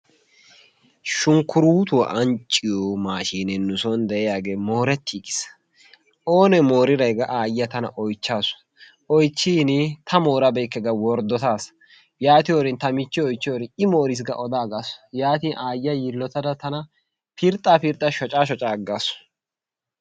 Shunkkuruutuwa ancciyo maashinee nu soon de'iyaagee moorettigis. Oone mooriray gaa aayiya tana oychchaasu oychchiin ta moorabeykke ga worddotaas yaatiyorn ta michchiyo oychyorin i moriis ga odaagasu. Yaatin aayyiya yiillottada tana pirxxa pirxxa shocca shocca aggaasu.